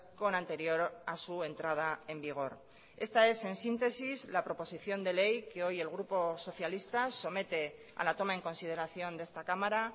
con anterior a su entrada en vigor esta es en síntesis la proposición de ley que hoy el grupo socialista somete a la toma en consideración de esta cámara